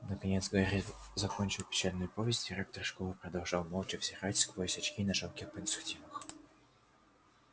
наконец гарри закончил печальную повесть директор школы продолжал молча взирать сквозь очки на жалких подсудимых